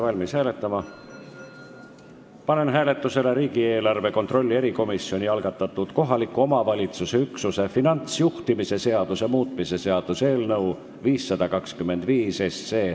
Panen hääletusele riigieelarve kontrolli erikomisjoni algatatud kohaliku omavalitsuse üksuse finantsjuhtimise seaduse muutmise seaduse eelnõu 525.